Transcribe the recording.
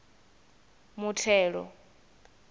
muthelo